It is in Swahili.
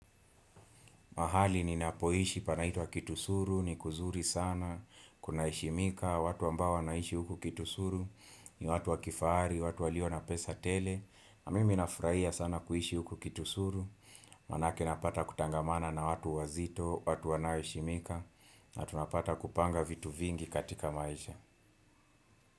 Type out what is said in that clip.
Mahali ninapoishi panaitwa kitusuru, ni kuzuri sana, kunaheshimika, watu ambao wanaishi huku kitusuru, ni watu wa kifahari, watu walio na pesa tele, na mimi nafurahia sana kuishi huku kitusuru, manake napata kutangamana na watu wazito, watu wanaoheshimika, na tunapata kupanga vitu vingi katika maisha.